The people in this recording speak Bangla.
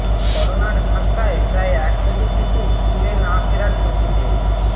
করোনার ধাক্কায় প্রায় এক কোটি শিশু স্কুলে না ফেরার ঝুঁকিতে